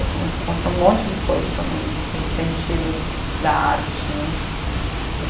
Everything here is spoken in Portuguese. Ai começou, aconteceu um monte de coisa também nesse sentido da arte né.